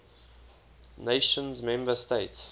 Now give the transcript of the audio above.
nations member states